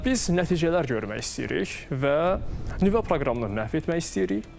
Biz nəticələr görmək istəyirik və nüvə proqramını məhv etmək istəyirik.